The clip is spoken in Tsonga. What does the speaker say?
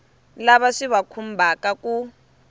lava swi va khumbhaka ku